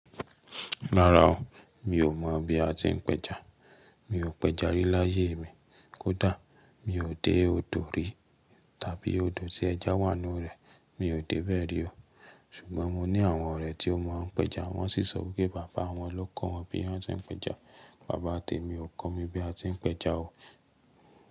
Rárá o, mi ò mọ̀ bí a ti ń pẹja. Mi ò pẹja rí láyé mi. Kódà mi ò dé òdò rí tàbí odò tí ẹja wà nínú rẹ̀, mi ò dé bẹ́ẹ̀ rí o. Ṣùgbọ́n mo ní àwọn ọ̀rẹ́ tí ó mọ̀ ń pẹja, wọ́n sì sọ pé bàbá wọn ló kọ wọn bí wọ́n ti ń pẹja. Bàbá tèmi ò kọ́ mi bí a ti ń pẹja o.